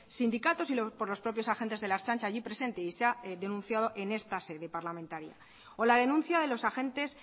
sindicatos y por los propios agentes de la ertzaintza allí presentes y se ha denunciado en esta sede parlamentaria o la denuncia de los agentes